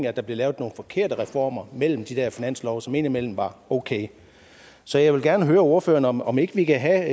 at der blev lavet nogle forkerte reformer mellem de der finanslove som indimellem var okay så jeg vil gerne høre ordføreren om ikke vi kan have